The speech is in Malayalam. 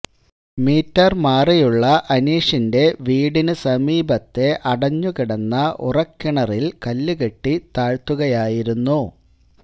മീറ്റര് മാറിയുള്ള അനീഷിന്റെ വീടിനു സമീപത്തെ അടഞ്ഞുകിടന്ന ഉറക്കിണറില് കല്ലുകെട്ടി താഴ്ത്തുകയായിരുന്നു